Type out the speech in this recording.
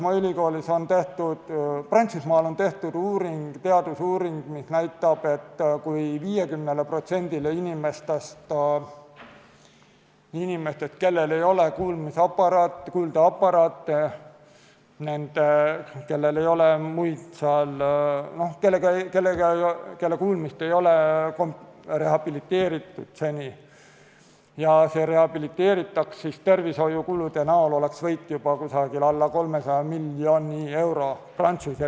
Näiteks on Prantsusmaal tehtud teadusuuring, mis näitab, et kui 50%-l inimestest, kellel ei ole kuuldeaparaate, kelle kuulmist ei ole seni rehabiliteeritud, kuulmine rehabiliteeritaks, siis tervishoiukuludes oleks Prantsuse riigis võit juba alla 300 miljoni euro.